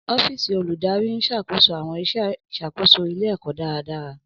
Ọ́fíìsì Olùdarí ń ṣàkóso àwọn iṣẹ́ ìṣàkóso ilé-ẹ̀kọ́ dáradára.